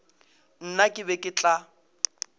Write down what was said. nna ke be ke tla